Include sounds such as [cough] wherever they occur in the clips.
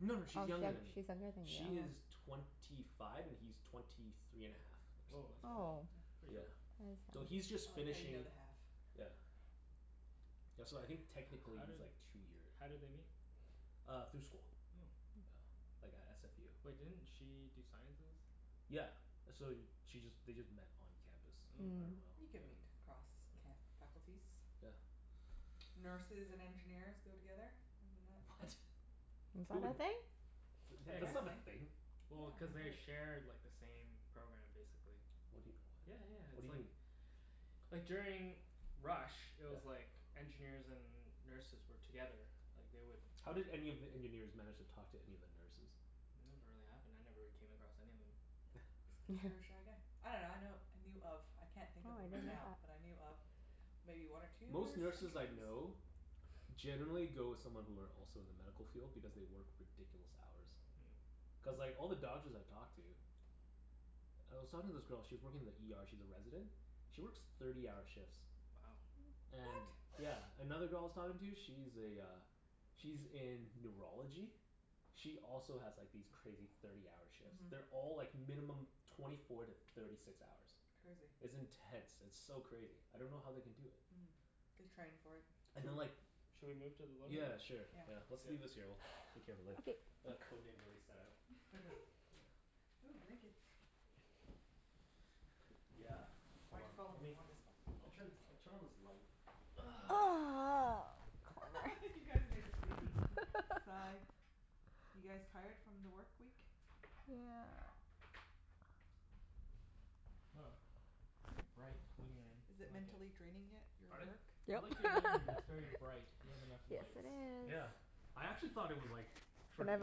No no Oh, sh- she's younger than me. she's younger than She you. is Oh. twenty five and he's twenty three and a half, or Woah, something that's like that. Oh. pretty [noise] pretty Yeah. young. So That he's is nice. I just like how you finishing, know the half. yeah Yeah, so I think How technically did he's like two year how did they meet? Uh through school. Oh. Yeah, like at SFU. Wait, didn't she do sciences? Yeah. So she just, they just met on campus. I Oh. dunno Mm. how, You can yeah. meet across ca- Mm. faculties. [noise] Yeah. Nurses and engineers go together. Isn't that the What? thing? Is Who that woul- a thing? Yeah, cuz that's not a Apparently, thing. yeah. well, cuz I've they heard. share like the same program, basically. What do you, Yeah yeah, what? What it's do you like mean? like during rush, it Yeah. was like engineers and nurses were together. Like, they would How did any of the engineers manage to talk to any of the nurses? It never really happened. I never really came across any of them. [laughs] Cuz you're a [laughs] shy guy. I dunno, I know, I knew of I can't think Oh, of I him right didn't know now, [noise] that. but I knew of maybe one or two Most nurse nurses I engineers? know [laughs] generally go with someone who are also in the medical field because they work ridiculous hours. Mm. Cuz like Mm. all the doctors I've talked to I was talking to this girl, she was working in the ER, she's a resident she works thirty-hour shifts. Wow. What? And yeah. Another girl I was talking to, she's a uh she's in neurology. She also has like these crazy thirty-hour shifts. Mhm. They're all like minimum twenty four to thirty six hours. Crazy. It's intense. It's so crazy. I don't know how they can do it. Mm. They train for it. [noise] And then Sho- like should we move to the living Yeah, room? sure. Yeah. Yeah. Let's leave this here. [noise] We'll take care of it later. Okay. The Code Name's already set out. [laughs] [laughs] Ooh, blankets. Yeah. Hold Why'd on. you follow me? You Lemme, want this one I'll turn, I'll turn on this [inaudible] light. [noise] Corner. [noise] [laughs] You guys make the same [laughs] sigh. [laughs] You guys tired from the work week? Yeah. Woah, very bright living room. Is it I like it. mentally draining yet? Your Pardon? work? I Yep. like your living [laughs] room. It's very bright. You have enough Yes, lights. it is. Yeah. I actually thought it was like, for And an I've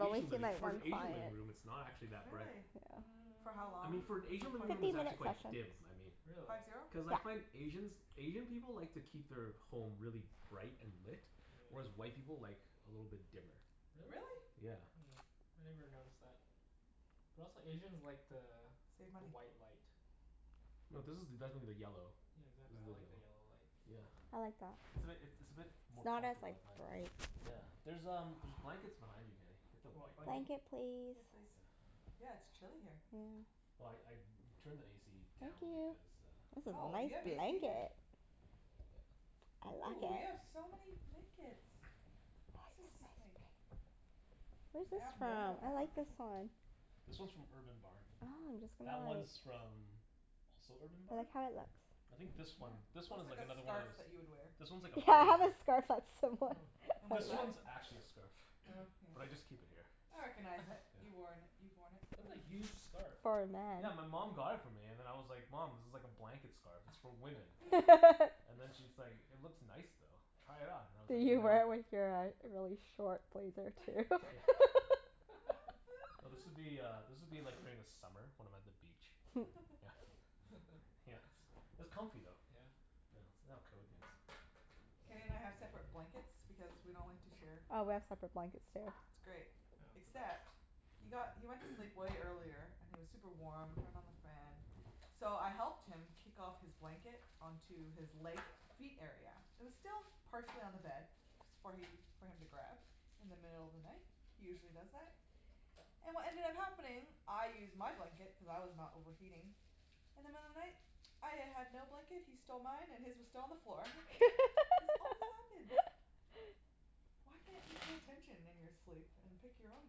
only Asian seen living, like for an one Asian living client. room it's not actually that bright. Really? Yeah. For how I long mean, for an is the Asian living room Fifty it's [inaudible] [noise] actually minute quite sessions. dim, I mean. Really? Five zero? Cuz I Yeah. find Asians, Asian people like to keep their home really bright and lit. Whereas Yeah. white people like a little bit dimmer. Really? Really? Yeah. Hmm. I never noticed that. But also Asians like the Save the money. white light. No, this is definitely the yellow. Yeah, exactly. This is I the like the yellow. yellow light. Yeah. I like that. It's a bit, it it's a bit It's more not as comfortable, like I find. bright. Yeah. There's um, there's blankets behind you Kenny. Get the Do you want white one. blanket? Blanket please? Yes, please. Yeah. Yeah, it's chilly here. Yeah. Well I I turned the AC Thank down you. because uh This is Oh, nice you have AC here? blanket. Yeah. I like Ooh, you have it. so many blankets. This is like [inaudible] Where's this Yeah. abnormal from? I amount. like this one. This one's from Urban Barn. Oh, I'm just That gonna like one's from also Urban I Barn? like how it looks. I think Yeah, Mmm. this one, this one looks is like like a another one of scarf those that you would wear. This one's like a Yeah, I have foldover. a scarf that's similar. [laughs] And what's This that? [laughs] one's actually a [inaudible] scarf. Oh, [noise] yeah. But I just keep it here. I recognize it. [laughs] Yeah. You worn, you've worn it That's before. a huge scarf. For a man. Yeah, my mom got it for me and then I was like, "Mom, this is like a blanket scarf. It's for women." [laughs] [laughs] And then she's like, [laughs] "It looks nice though. Try it on." And I was like, Did you "No." wear it with your uh really short blazer, too? [laughs] Yeah. No, this [laughs] [laughs] would be uh, this would be like during the summer when I'm at the beach. Yeah. [laughs] [noise] Yeah. [laughs] It's it's comfy though. Yeah? Yeah. Let's lay out Code Names. Kenny and I have separate blankets because we don't like to share. Oh, we have separate blankets, too. It's great, Yeah, it's the best. except he got, he went to [noise] sleep way earlier, and he was super warm. Turned on the fan. So I helped him kick off his blanket onto his leg, feet area. It was still partially on the bed. S- for he, for him to grab, in the middle of the night. He usually does that. And what ended up happening, I used my blanket cuz I was not overheating. In the middle of the night, I y- had no blanket, he stole mine, and his was still on the floor. This always happens. [laughs] Why can't you pay attention in your sleep and pick your own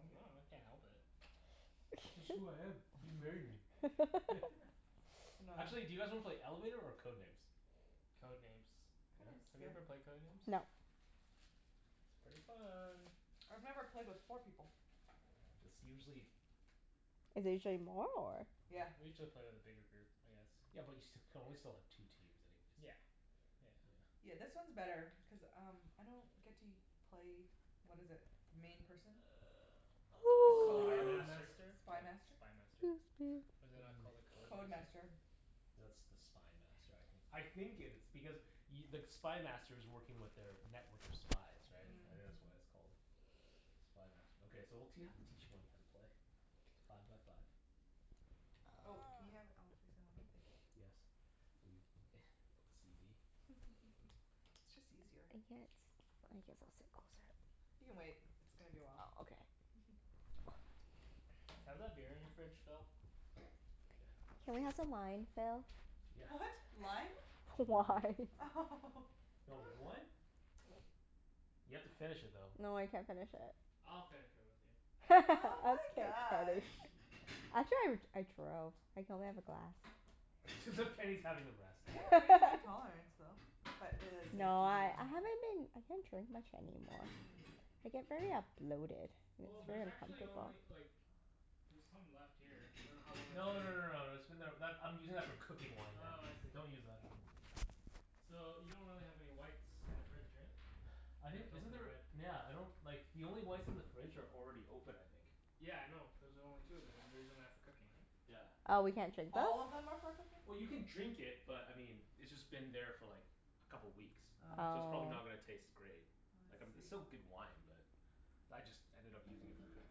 I dunno. I can't help it. It's just who I am. You married me. [laughs] [laughs] [noise] I know. [laughs] Actually, do you guys wanna play Elevator or Code Names? Code Names. Code Yeah? Names is Have you good. ever played Code Names? No. It's pretty fun. I've never played with four people. It's usually Is it usually more, or? Yeah. We usually play with a bigger group, I guess. Yeah but you st- you can only still have two teams anyways. Yeah. Yeah. Yeah. Yeah, this one's better cuz um I don't get to u- play, what is it? The main person? The The Spy Coder? Code [noise] Master? Master? Oh, Spy Master? Spy Master. 'Scuse me. Is it not called a [noise] Code Code [noise] Master? Master. No, it's the Spy Master I think. Damn. I think it is. Because y- the Spy Master's working with their network of spies, right? Mm, I think Mm. that's why mhm. it's called Spy Master. Okay, so we'll t- you'll have to teach Wenny how to play. Five by five. Oh, can you have it all [noise] facing one way? Thank you. Yes. Are you [laughs] OCD? [laughs] It's just easier. I can't s- I guess I'll sit closer. You can wait. It's gonna be a while. Oh, okay. [laughs] [noise] Can I have that beer in your fridge, Phil? Yeah. Can we Sweet. have some wine, Phil? Yeah. What? Lime? Wine. Wine. Do you want red [laughs] wine? [noise] You have to finish it though. No, I can't finish it. I'll finish it with you. Oh [laughs] my gosh. [inaudible] Actually I r- I drove. I can only have a glass. [laughs] As if Kenny's having the rest. You have a pretty high tolerance, [laughs] though. But it is safe No, to do I one [inaudible] I haven't been I can't drink much anymore. Mm. I get very a bloated, and Well, it's Mm. there's very actually uncomfortable. only like there's some left here. I dunno how long it's No been no no here. no, that's been there, that, I'm using that for cooking wine now. Oh, I see. Don't use that. So, you don't really have any whites in the fridge, right? [noise] I You'd think, have to isn't open a there, red. nyeah, I don't like the only whites in the fridge are already open I think. Yeah, I know, those are the only two of them and you're using that for cooking, right? Yeah. Oh, we can't drink those? All of them are for cooking? Well you can drink it, but I mean it's just been there for like a couple weeks Oh. so it's probably Oh. not gonna taste great. Oh Like um I it's still see. good wine but I just ended up using it for cooking.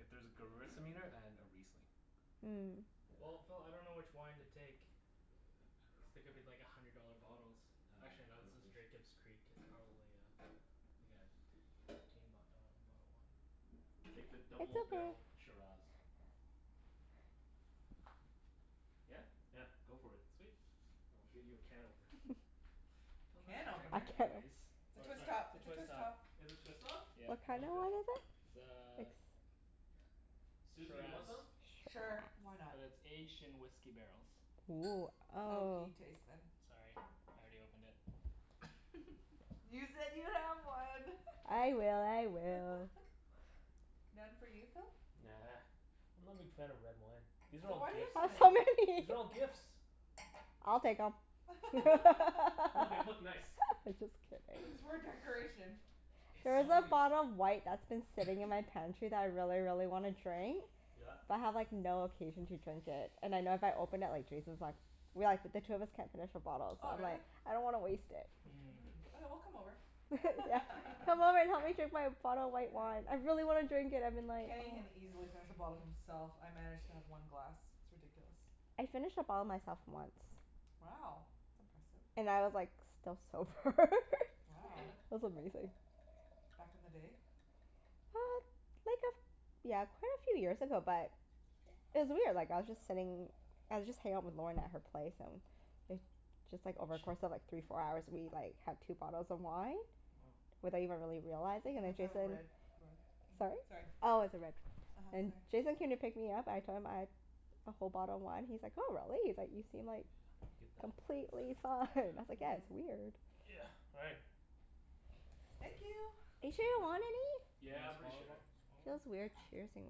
If there's a gewürztraminer and a riesling. Hmm. Well, Yeah. Phil, I dunno which wine to take. Cuz Uh they I could be like a dunno [noise] hundred dollar bottles. Uh Actually I no, don't this is think s- Jacob's Creek. It's probably uh like a t- fifteen b- dollar bottle of wine? Take the It's double okay. barrel Shiraz. Yeah? Yeah, go for it. Sweet. I'll get you a can opener. [laughs] [laughs] Phil Can doesn't drink A opener? it can op- anyways. It's a Or twist sorry top. It's a Twist twist top. top. Is this twist off? Yeah. What Then kinda okay. wine is it? It's a Ex- Susie, you want shiraz. some? Sure. Why Shiraz. not? But it's aged in whisky barrels. Woo. Oh. Oaky taste, then. Sorry, I already opened it. [laughs] You said you have one. [laughs] I will. I will. [laughs] None for you, Phil? Nah. I'm not a big fan of red wine. These are So all why do you have gifts. so many? So many. These [laughs] are all gifts. I'll take 'em. [laughs] I'm [laughs] [noise] No, they look just [laughs] nice. kidding. It's [noise] for decoration. There It's is a only bottle of white that's been [noise] sitting in my [noise] pantry that I really, really wanna drink. Yeah. But I have like no occasion to drink it. And I know if I open it, like Jason's like we like, but the two of us can't finish a bottle so Oh, really? like I don't wanna waste it. Mm. Mmm. Okay, we'll come over. [laughs] [laughs] Yeah. Come over [laughs] and help me drink my bottle of white wine. Yeah. I really wanna drink it. I've been like, Kenny can oh easily finish a bottle himself. I manage to have one glass. It's ridiculous. I finished a bottle myself, once. Wow. That's impressive. And I was like still sober Wow. [laughs] [laughs] It was amazing. Back in the day? Uh, like a f- yeah, quite a few years ago but it was weird. Like, I was just sitting I was just hangin' out with Lorna at her place, and it just like, over course of like three, four hours we like [laughs] had two bottles of wine Woah. without even really Good realizing, thing and then it's a Jason red rug. Mhm. Sorry? Sorry. Oh, it's a red. uh-huh. And Sorry. Jason came to pick me up. I told him, I'd a whole bottle of wine, he's like, "Oh, really?" He's like "You seem Yeah, like I get that. completely fine." I was like, "Yeah, Yeah. it's weird." Yeah, all right. Thank you. Are you sure you don't [noise] want any? Yeah, Wanna I'm pretty smaller o- sure. smaller one? Feels weird cheersing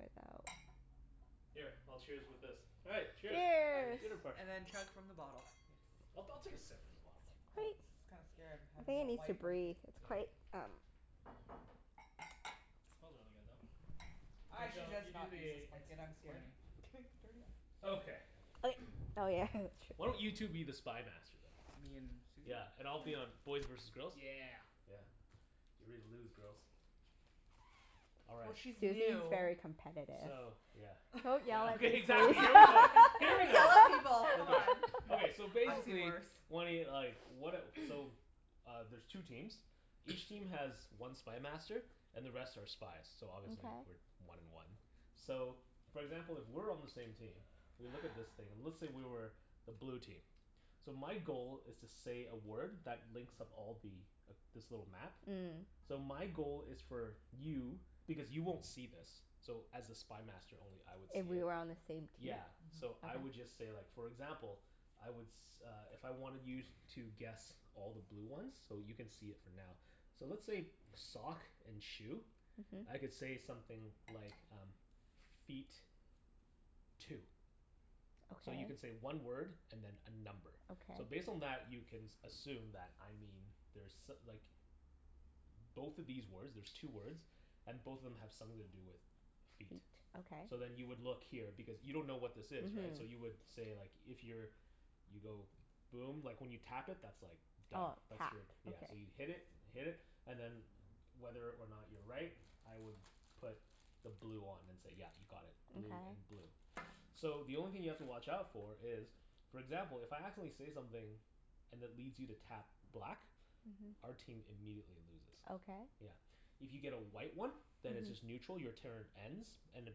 without Here, I'll cheers with this. All right. Cheers. Cheers. Dinner Cheers. [laughs] party. And then chug from the bottle, yes. I'll I'll take a sip from the bottle. Oh, Wait. this is kinda scary. I'm I having think it a needs to white breathe. blanket. It's Yeah. quite, um Smells really good, though. [noise] Mhm. K I should Phil, just you do not use this the ex- blanket. I'm scared explaining. of getting it dirty. Okay. Like, oh yeah. [laughs] Why don't That's you true. two be the Spy Master, then? Me and Susie? Yeah, and I'll be on, K. boys versus girls? Yeah. Yeah. Get ready to lose, girls. All Well, right. she's Susie's new. very competitive. So, yeah [laughs] Don't yell Yeah [laughs] at me, Susie. exactly. Here we I go. [laughs] You Here we never yell go. yell at at people. people, come Come Okay, on. on. [noise] okay. So I've seen basically worse. Wenny, like, what a, so [noise] Uh, there's two teams. Each [noise] team has one Spy Master. And the rest are spies, so obviously we're Okay. one and one. So, for example, if we're on the same team we look at this [noise] thing and let's say we were the blue team. So my goal is to say a word that links up all the, this little map. Mm. So my goal is for you, because you won't see this so as a Spy Master only I would If see we it. were on the same team? Yeah. So Mhm. I would Okay. just say like, for example I would s- uh if I wanted you to guess all the blue ones So you can see it for now. So let's say sock and shoe. Mhm. I could say something like um Feet. Two. So you can Okay. say one word and then a number. Okay. So based [noise] on that you can s- assume that I mean there's so- like Both of these words, there's two words And both of them have something to do with Feet. feet. Okay. So then you would look here because you don't know what this is, right? So you Mhm. would say like, if you're you go boom. Like, when you tap it that's like Done. Oh. That's Tap. your, yeah. Okay. So you hit it. Hit it, and then whether or not you're right I would put the blue on and say yeah, you got it. Blue and Okay. blue. So the only thing you have to watch out for is for example, if I accidentally say something and it leads you to tap black Mhm. our team immediately loses. Okay. Yeah. If you get a white one then it's Mhm. just neutral. Your turn ends and it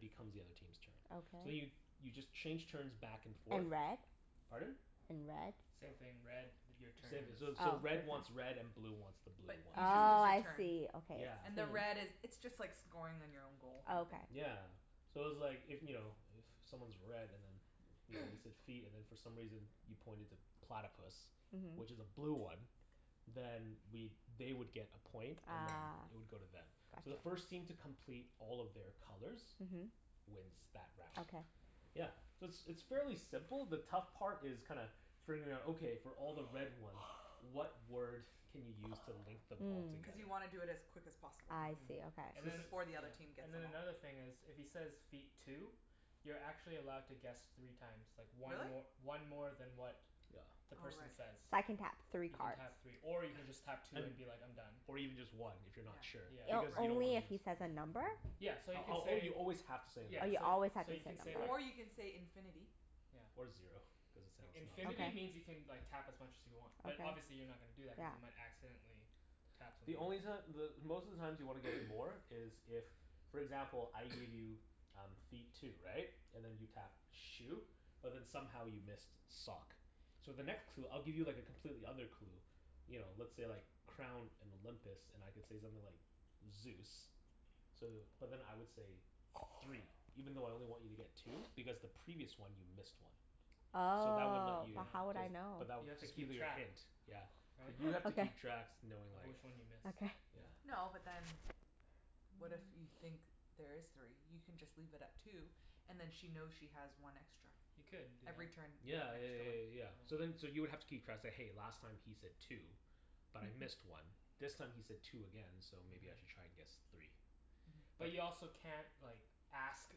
becomes the other team's turn. So then you, Okay. you just change turns back and forth And red? Pardon? And red? Same thing. Red, your turn Same, ends. so so Oh. red wants red and blue wants the blue But you ones. just lose Oh, [noise] your I turn. see. Okay, Yeah. I And the red see. is, it's just like scoring on your own goal, Oh kinda thing. okay. Yeah. So it's like, if, you know, if someone's red and then you know, you [noise] said feet and then for some reason you pointed to platypus Mhm. which is a blue one then we'd, they would get a point and then Ah, it would go to them. So the gotcha. first team to complete all of their colors Mhm. wins that round. Okay. Yeah. So it's it's fairly simple. The tough part is kinda figuring out, okay, for all the red ones [noise] what word can you use to [noise] link them all Mm. Cuz together? you wanna do it as quick as possible. I Mhm. see. And Okay. So then, [inaudible] Before the yeah, other team gets and them then all. another thing is if he says, "Feet. Two." You're actually allowed to guess three times. Like one Really? mor- one more than what Yeah. the Oh, right. person So says. I can tap three You can cards? tap three. Or you can just tap two And, and be like, "I'm done." or even just one if you're Yeah, not sure, Yeah. O- because right. you don't wanna only if he [inaudible] says a number? Yeah. So [inaudible] you can say you always have to say a number. Yeah, Oh, you so always have so to say you a can say number. like Or you can say, "infinity." Yeah. Or zero, cuz it sounds not as Infinity lame. Okay. means you can like tap as much as you want. But Okay. obviously you're not gonna do that cuz Yeah. you might accidentally tap something The else. only reason that the, most of the times you want to get [noise] more is if for example, I [noise] give you um feet, two. Right? And then you tapped shoe? But then somehow you missed sock. So the next clue, I'll give you like a completely other clue you know, let's say like crown and Olympus and I could say something like Zeus. So, but then I would say three even though I only want you to get two [noise] because the [noise] previous one you missed one. So that would let Oh, you, Yeah. but how would cuz, I know? but that, You have to that'll keep be your track. hint. Yeah. But Right? you [noise] have to Okay. keep tracks knowing Of like which one you [noise] miss. Okay. Yeah. Yeah. No, but then what if you think there is three? You can just leave it at two and then she knows she has one extra. You could do Every turn that. you get Yeah yeah an yeah extra yeah one. yeah Yeah. yeah. So then so you would have to keep tracks, say "Hey, last time he said two." "But I missed Mhm. one." "This time he said two again. So maybe I Mhm. should try and guess three." Mhm. But But you also can't like ask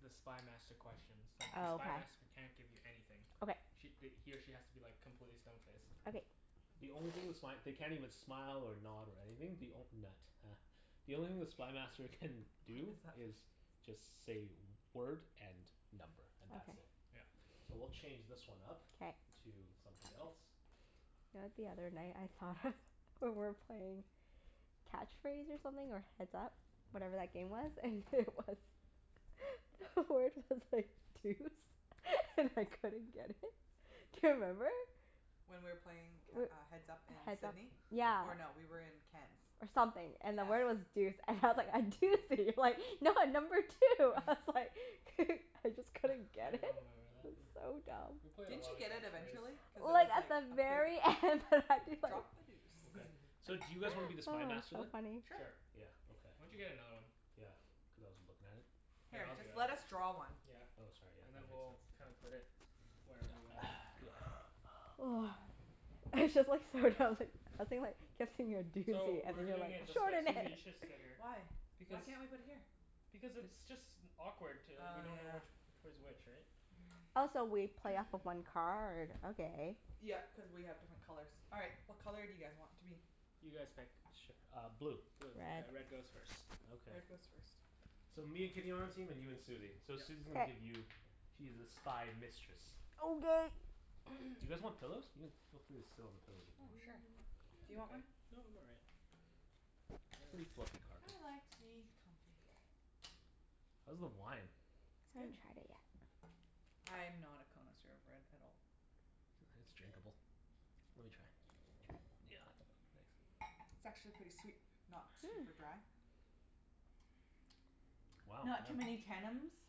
the Spy Master questions. It's like the Spy Oh, Master can't give you okay. anything. Okay. Sh- th- he or she has to be like completely stone faced. Okay. The only thing the [noise] sp- they can't even [noise] smile or nod or anything. The onl- nut, huh. The only thing the Spy Master can What do is that fa- is just say word and number, and that's it. Okay. Yeah. So we'll [noise] change this one up K. to something else. You know what the other night I thought of, we were playing Catch Phrase or something, or Heads Up. Whatever that game was. And it was [laughs] The word was like deuce. [laughs] And I couldn't get it. Do you remember? When we were playing c- We're, uh Heads Up in Heads Up Sidney. Yeah. Or no, we were in Ken's. or something. And the Yeah. word was deuce. And I was like, "I do see you, like [noise] no, number two." I [noise] was like [noise] [laughs] I just couldn't [noise] I get it. don't remember that. It was [noise] so We dumb. played a Didn't lot you of get it Catch Phrase. eventually? Cuz it Well, was it's at like the a pers- very end that I'd be like Drop a deuce. Okay. [laughs] So do [noise] Oh, you guys wanna be the Spy Master so then? funny. Sure. Sure. Yeah, okay. Why don't you get another one? Yeah, cuz I wasn't lookin' at it. Here, Here, I'll do just it. let us draw one. Yeah. Oh, sorry. Yeah, And then that makes we'll kinda sense. put Yeah. it whatever way. [noise] [noise] It's just like, so dumb that I was thinking like, kept saying you're a So, doozy, and we're you're doing like, it this [laughs] way. Susie, "Extraordinary!" you should sit here. Why? Why Because can't we put it here? Because it's just awkward t- we Oh, don't know yeah. which which way's which, right? [noise] Also, we play off of [noise] one card? Okay. Yep, cuz we have different colors. All right. What color do you guys want to be? You guys pick. Sure, uh blue. Blue. Okay, Red. red goes first. Okay. Red goes first. So, me and Kenny on our team, and you and Susie. So Yep. Susie's gonna K. give you She's the Spy Mistress. Okay. You [noise] [noise] guys want pillows? You can, feel free to sit on the pillows if you Oh, want. sure. Mm, Do you I'm want okay. one? No, I'm all right. Pretty [noise] fluffy carpet. I like to be comfy. How's the wine? It's I good. haven't tried it yet. I'm not a connoisseur of red at all. Sure, it's drinkable. Let me try. Try? Yeah, thanks. It's actually pretty sweet. Not super Hmm. dry. Wow, Not too many yeah. tennums.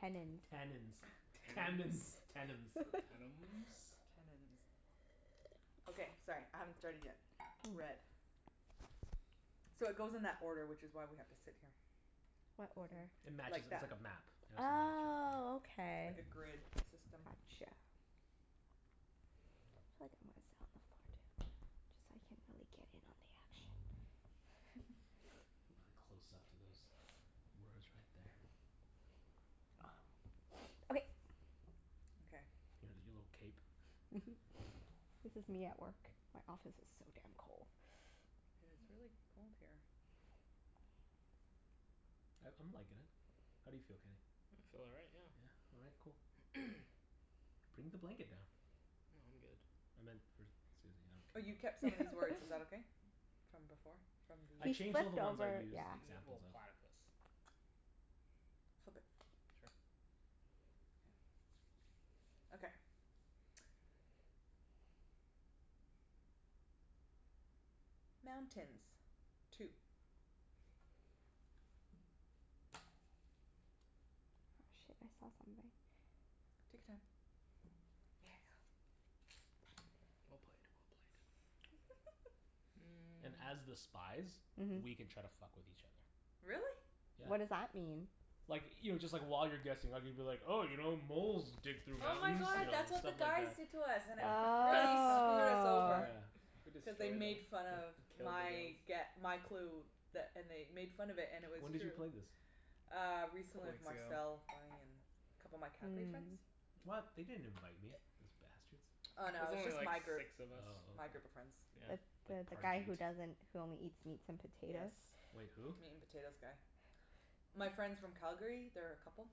Tennins. Tannins. Tammins. Tennums? Tennums. [laughs] Tannums. Tannins. [noise] Okay, sorry. I haven't started yet. Red. So, it goes in that order, which is why we have to sit here. What Goes order? [noise] It in matches like it, it's that. like a map Oh, [inaudible] okay. Like a grid system. Gotcha. Feel like I'm gonna sit on the floor, too. Just so I can really get in on the action. [laughs] [laughs] [laughs] Really close up to those words right there. [noise] [noise] Okay. Okay. Look at your little cape. [laughs] This is me at work. My office is so damn cold. Yeah, [noise] it's really cold here. I I'm likin' it. How do you feel, Kenny? I feel all right, yeah. Yeah? All right. Cool. [noise] [noise] Bring the blanket down. No, I'm good. I meant for Susie. Oh, I don't you care kept about some of these words. Is that [laughs] okay? From before? From the I He changed [inaudible] all the flipped ones I over, used yeah. N- examples well, of. platypus. Flip it. Sure. Yeah. Okay. [noise] Mountains. Two. Oh, shit. I saw something. Take your time. Yeah. Well played. Well played. [laughs] Mm. And as the spies Mhm. We can try to fuck with each other. Really? Yeah. What does that mean? Like, you know, just like while you're guessing I could be like, 'Oh, you know, moles dig through Oh my mountains." You god, know? [noise] that's what the Stuff like guys that. did to us and it [laughs] Yeah. fu- really screwed us Oh. over. Yeah. We destroyed Cuz they them. made fun of We killed my the girls. gue- my clue. That and they made fun of it, and it was When did true. you play this? Uh, A recently couple with weeks ago. Marcel, Bonnie, and a couple of my Calgary friends. Mm. What? They didn't invite me, those bastards. Oh It no, was it was only just my like group, six of us. Oh, my okay. group of friends. Yeah. The the Like the guy Parjeet. who doesn't, who only eats meats and Yes, potatoes? Wait, who? meat and potatoes guy. My friends from Calgary. They're a couple.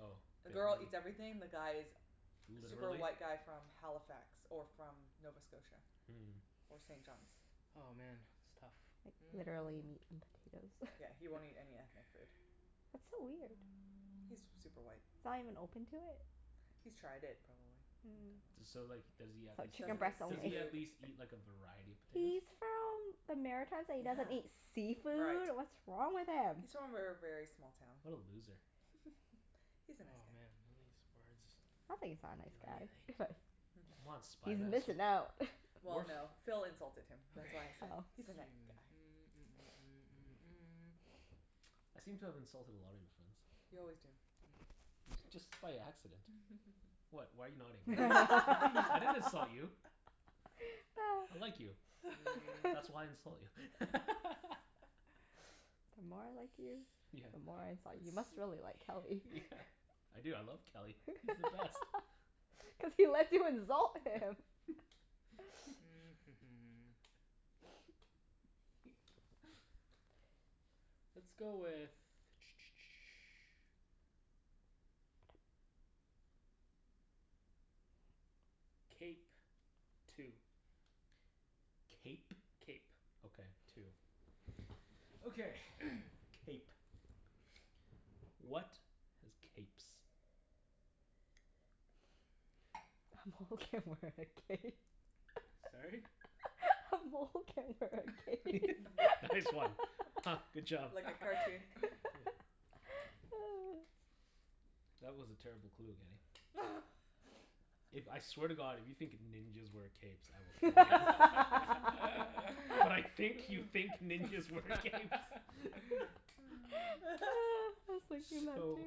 Oh. The The girl girl, eats everything. The guy is super literally? white guy from Halifax. Or from Nova Scotia. Mm. Or St. John's. Oh, man. It's tough. Like, Mm. literally meat and potatoes. [laughs] Yeah, he won't eat any ethnic food. That's so weird. He's super white. He's not even open to it? He's tried it, probably, and Mm. didn't D- So so like does he at least chicken Doesn't eat breast eat, does only. he at seafood. least [laughs] eat like a variety of He's potatoes? from the Maritimes and he Yeah. doesn't eat Right. seafood? What's wrong with him? He's from a ver- very small town. What a loser. [laughs] He's a nice Oh guy. man, none of these words do Sounds like he's not a nice guy. anything. [laughs] Come on [laughs] Spy He's Master. missin' out. [laughs] Well Wart? no, Phil insulted him. Okay. That's [noise] why I said, Oh. "He's a night guy." I seem to have insulted a lot of your friends. You always do, yeah. Ye- just by accident. [laughs] What? Why are you nodding? [laughs] I didn't insult [laughs] you. I [laughs] like you. That's [noise] why I insult you. [laughs] [laughs] The more I like you, Yeah. the more I insult you. You must really like Kelly. Yeah. I do. I love Kelly. He's the best. [laughs] Cuz he lets you insult him. [laughs] [noise] [laughs] [noise] [noise] Let's go with [noise] Cape. Two. Cape? Cape. Okay. Two. Okay. [noise] Cape. What has capes? A mole can wear a cape. [laughs] A mole can wear a cape. [laughs] [laughs] Nice one. Huh. Good [laughs] job. Like a [laughs] cartoon. Yeah. [laughs] That was a terrible clue, Kenny. If, I [laughs] swear to god, if you think ninjas wear capes I will [laughs] I kill you. But I was [laughs] think you thinking think ninjas wear capes. [laughs] [laughs] that too. So